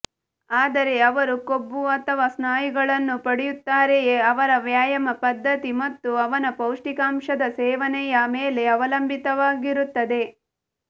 ಆದರೆ ಅವರು ಕೊಬ್ಬು ಅಥವಾ ಸ್ನಾಯುಗಳನ್ನು ಪಡೆಯುತ್ತಾರೆಯೇ ಅವರ ವ್ಯಾಯಾಮ ಪದ್ಧತಿ ಮತ್ತು ಅವನ ಪೌಷ್ಟಿಕಾಂಶದ ಸೇವನೆಯ ಮೇಲೆ ಅವಲಂಬಿತವಾಗಿರುತ್ತದೆ